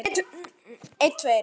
Síðan er ekkert planað.